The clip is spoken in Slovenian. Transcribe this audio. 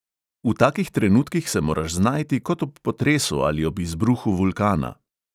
V takih trenutkih se moraš znajti kot ob potresu ali ob izbruhu vulkana.